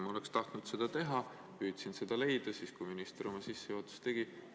Ma oleks tahtnud seda teha, püüdsin seda leida, kui minister oma sissejuhatust tegi.